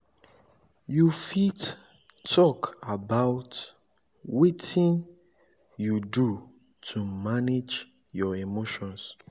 you fit talk about wetin you do to manage your emotions?